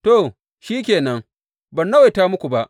To, shi ke nan, ban nawaita muku ba.